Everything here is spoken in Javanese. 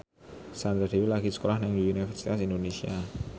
Sandra Dewi lagi sekolah nang Universitas Indonesia